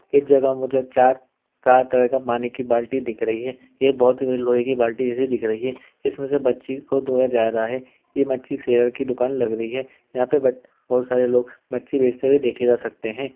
इस जगह पर मुझे चार चार तरह का पानी की बाल्टी दिख रही है। ये बहोत ही लोहे की बाल्टी जैसी दिख रही है इसमें से मच्छी को धोया जा रहा है। ये मच्छी शेर की दुकान लग रही है। यहाँ पे बेट बहोत सारे लोग मच्छी बेचते हुए देखे जा सकते हैं।